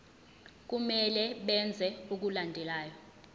kumele benze okulandelayo